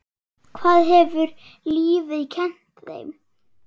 Hvað hefur lífið kennt þér?